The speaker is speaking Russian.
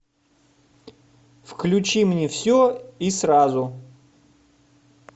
включи мне все и сразу